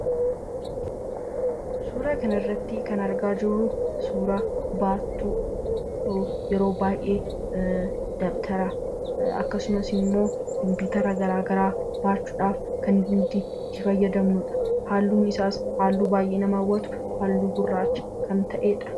Suuraa kanaa gadii irraa kan mul'atu baatoo dha. Innis dabtaraa fi meeshaalee elektirooniksii itti baachuuf kan fayyaduu dha. Halluun isaa kan nama hawwatu halluu gurraacha dha.